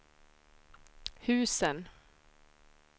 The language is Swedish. husen